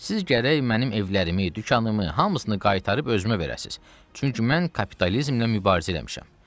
Siz gərək mənim evlərimi, dükanımı hamısını qaytarıb özümə verəsiniz, çünki mən kapitalizmlə mübarizə eləmişəm.